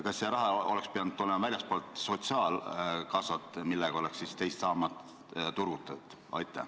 Kas see raha oleks pidanud tulema väljastpoolt sotsiaalkassat, millega oleks siis teist sammast turgutatud?